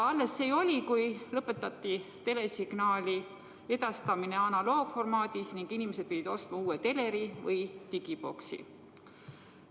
Alles see oli, kui lõpetati telesignaali edastamine analoogformaadis ning inimesed pidid ostma uue teleri või digiboksi.